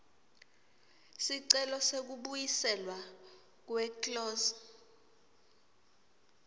sicelo sekubuyiselwa kweclose